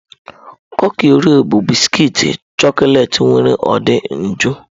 Kuki Oreo bụ bisikiiti chọkọleti nwere ude nju